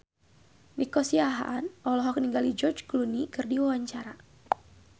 Nico Siahaan olohok ningali George Clooney keur diwawancara